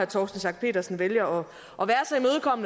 torsten schack pedersen vælger